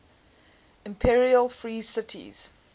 imperial free cities